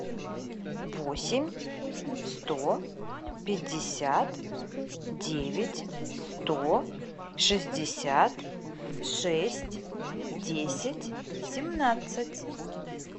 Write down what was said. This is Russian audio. восемь сто пятьдесят девять сто шестьдесят шесть десять семнадцать